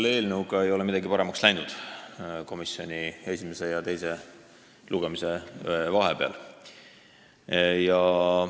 See eelnõu ei ole esimese ja teise lugemise vahepeal komisjonis sugugi paremaks läinud.